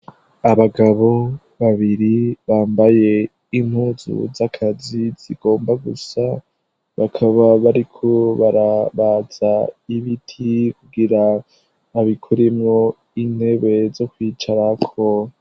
Abagabo babiri bambaye impuzu z'akazi zigomba gusa. Bakaba bariko barabaza ibiti, kugira babikuremwo intebe zo kwicara ko.